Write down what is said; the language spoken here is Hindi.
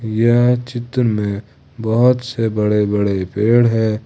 यह चित्र में बहुत से बड़े बड़े पेड़ है।